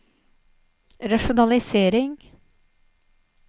rasjonalisering